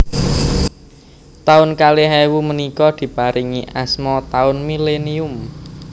Taun kalih ewu menika diparingi asma taun millenium